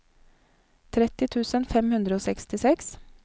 tretti tusen fem hundre og sekstiseks